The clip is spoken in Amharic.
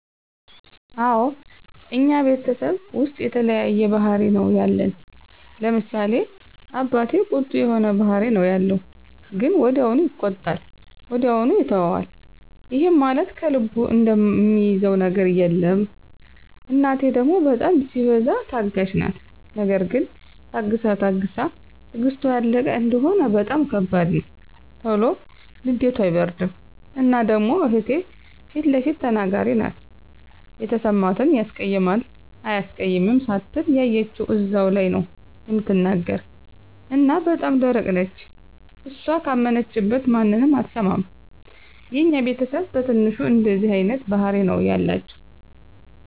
አወ እኛ ቤተሰብ ዉስጥ የተለያየ ባህሪ ነዉ ያለን፤ ለምሳሌ፦ አባቴ ቁጡ የሆነ ባህሪ ነዉ ያለዉ ግን ወዲያዉ ይቆጣል ወዲያዉ ይተወዋል ይህም ማለት ከልቡ እሚይዘዉ ነገር የለም፣ እናቴ ደሞ በጣም ሲበዛ ታጋሽ ናት ነገር ግን ታግሳ ታግሳ ትግስቷ ያለቀ እንደሆነ በጣም ከባድ ነዉ። ቶሎ ንዴቷ አይበርድም እና ደሞ እህቴ ፊለፊት ተናጋሪ ናት የተሰማትን ያስቀይማል አያስቀይምም ሳትል ያየችዉን እዛዉ ላይ ነዉ እምትናገር እና በጣም ደረቅ ነች እሷ ካመነችበት ማንንም አትሰማም። የኛ ቤተስብ በትንሹ እንደዚህ አይነት ባህሪ ነዉ ያላቸዉ።